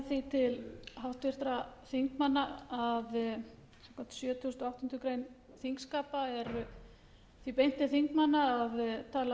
til háttvirtra þingmanna að samkvæmt sjötugasta og áttundu greinar þingskapa er því beint til þingmanna að tala